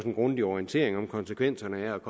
en grundig orientering af konsekvenserne ved at